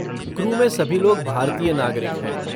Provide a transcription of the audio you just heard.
Crew में सभी लोग भारतीय नागरिक हैं।